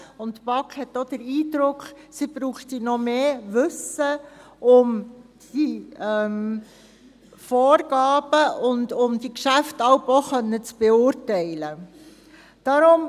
Die BaK hat auch den Eindruck, dass sie noch mehr Wissen braucht, um die Vorgaben und die Geschäfte jeweils beurteilen zu können.